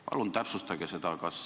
Palun täpsustage seda!